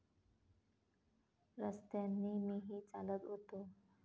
रस्त्यांनी मीही चालत होतो.